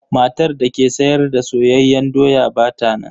Matar da ke sayar da soyayyen doya ba ta nan.